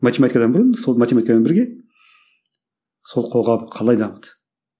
математикадан бұрын сол математикамен бірге сол қоғам қалай дамыды